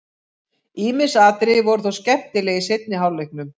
Ýmis atriði voru þó skemmtileg í seinni hálfleiknum.